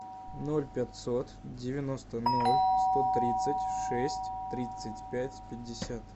ноль пятьсот девяносто ноль сто тридцать шесть тридцать пять пятьдесят